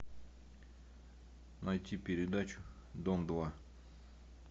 найти передачу дом два